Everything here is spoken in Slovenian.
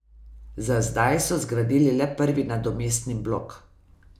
Za zdaj so zgradili le prvi nadomestni blok.